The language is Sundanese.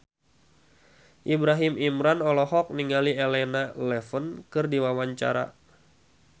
Ibrahim Imran olohok ningali Elena Levon keur diwawancara